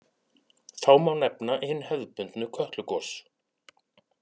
Þá má nefna hin hefðbundnu Kötlugos.